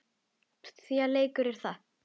Því að leikur er það.